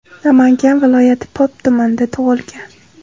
Namangan viloyati Pop tumanida tug‘ilgan.